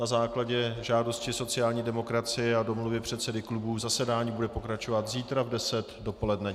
Na základě žádosti sociální demokracie a domluvy předsedů klubů zasedání bude pokračovat zítra v deset dopoledne.